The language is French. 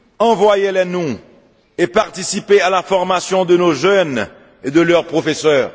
Envoyez les nous et participez à la formation de nos jeunes et de leurs professeurs.